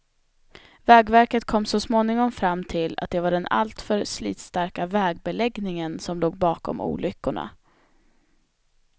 Vägverket kom så småningom fram till att det var den alltför slitstarka vägbeläggningen som låg bakom olyckorna.